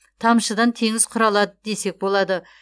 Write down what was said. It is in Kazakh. тамшыдан теңіз құралады десек болады